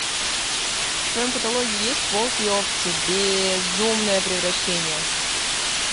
в твоем каталоге есть волки и овцы безумное превращение